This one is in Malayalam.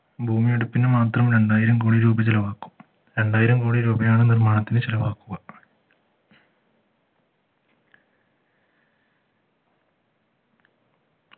ഭൂമിയെടുപ്പിന് മാത്രം രണ്ടായിരം കോടി രൂപ ചെലവാക്കും രണ്ടായിരം കോടി രൂപയാണ് നിർമ്മാണത്തിന് ചെലവാക്കു